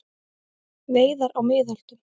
Veiðar á miðöldum.